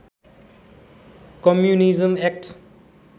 communism act